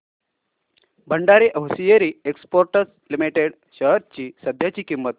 Bhandari hosiery exports limited shares ची सध्याची किंमत